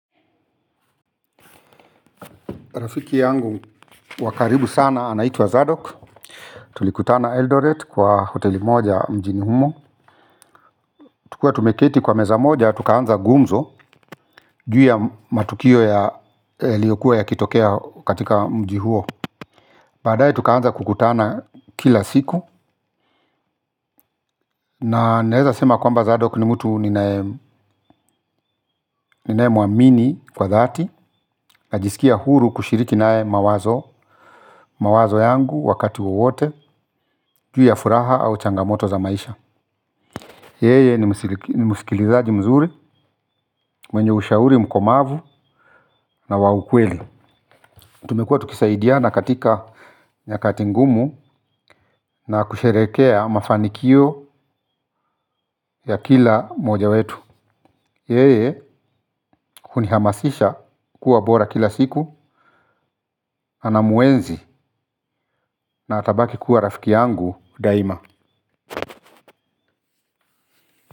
Rafiki yangu wa karibu sana anaitua Zadok. Tulikutana Eldoret kwa hoteli moja mjini humo. Tukiwa tumeketi kwa meza moja tukaanza gumzo ju ya matukio yaliyokuwa yakitokea katika mji huo. Baadaye tukaanza kukutana kila siku na naeza sema kwamba Zadok ni mtu ninaemwamini kwa dhati. Najisikia huru kushiriki nae mawazo. Mawazo yangu wakati wowote ju ya furaha au changamoto za maisha. Yeye ni musikilizaji mzuri, mwenye ushauri mkomavu na wa ukweli. Tumekua tukisaidiana katika nyakati ngumu na kusherekea mafanikio ya kila mmoja wetu. Yeye hunihamasisha kuwa bora kila siku, anamuenzi na atabaki kuwa rafiki yangu daima.